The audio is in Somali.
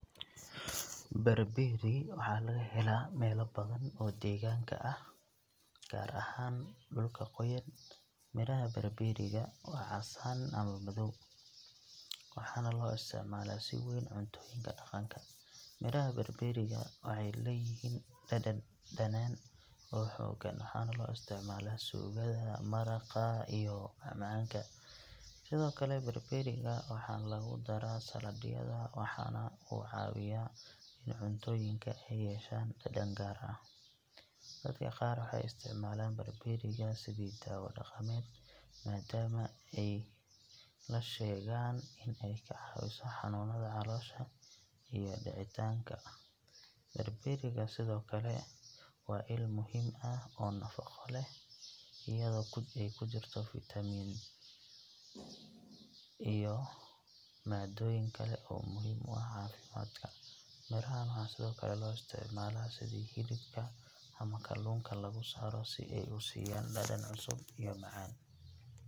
Barberry waxaa laga helaa meelo badan oo deegaanka ah, gaar ahaan dhulka qoyan. Midhaha barberry ga waa casaan ama madow, waxaana loo isticmaalaa si weyn cuntooyinka dhaqanka. Midhaha barberry ga waxay leeyihiin dhadhan dhanaan oo xooggan, waxaana loo isticmaalaa suugada, maraqa, iyo macmacaanka. Sidoo kale, barberry-ga waxaa lagu daraa saladhyada, waxaana uu ka caawiyaa in cuntooyinka ay yeeshaan dhadhan gaar ah. Dadka qaar waxay isticmaalaan barberry ga sidii daawo dhaqameed, maadaama ay la sheegaan in ay ka caawiso xanuunada caloosha iyo dhicitaanka. Barberry ga sidoo kale waa il muhiim ah oo nafaqo leh, iyadoo ay ku jirto fiitamiin iyo maadooyin kale oo muhiim u ah caafimaadka. Midhahan waxaa sidoo kale loo isticmaalaa sidii hilibka ama kalluunka lagu saaro si ay u siiyaan dhadhan cusub iyo macaan.